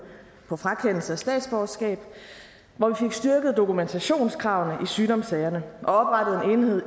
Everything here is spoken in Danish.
på frakendelse af statsborgerskab hvor vi fik styrket dokumentationskravene i sygdomssagerne og